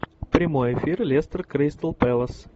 прямой эфир лестер кристал пэлас